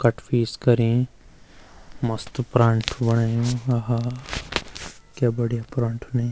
Cut piece करीं मस्त परांठा बणयूँ अ हा क्या बढ़िया परांठा नि।